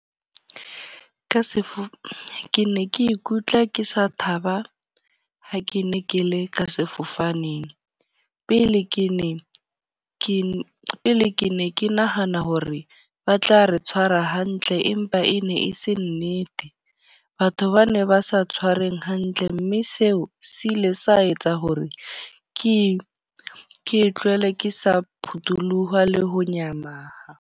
Ka sefo, ke ne ke ikutlwa ke sa thaba ha ke ne ke le ka sefofaneng. Pele ke ne ke, pele ke ne ke nahana hore ba tla re tshwara hantle empa e ne e se nnete. Batho ba ne ba sa tshwareng hantle. Mme seo se ile sa etsa hore ke ke tlohele ke sa phutoloha le ho nyahama.